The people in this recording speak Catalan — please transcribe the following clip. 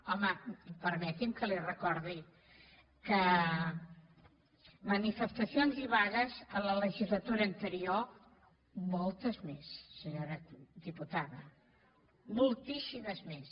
home permeti’m que li recordi que manifestacions i vagues a la legislatura anterior moltes més senyora diputada moltíssimes més